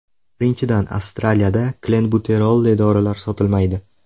Birinchidan, Astraliyada klenbuterolli dorilar sotilmaydi.